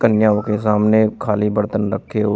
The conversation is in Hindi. कन्याओं के सामने खाली बर्तन रखे हुए--